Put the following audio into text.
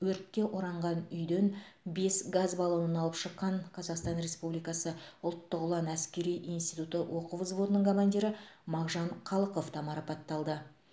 өртке оранған үйден бес газ баллонын алып шыққан қазақстан республикасы ұлттық ұлан әскери институты оқу взводының командирі мағжан қалықов та марапатталды